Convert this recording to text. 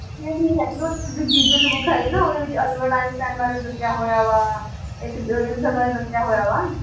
GK ਦੀ book ਹੈਗੀ ਨਾ ਉਹਦੇ ਵਿੱਚ ਅਲਬਰਟ ਆਈਨਸਟਾਇਨ ਬਾਰੇ ਵੀ ਦੱਸਿਆ ਹੋਇਆ ਵਾ ਇਹਨਾਂ ਸਭ ਬਾਰੇ ਦੱਸਿਆ ਹੋਇਆ ਵਾ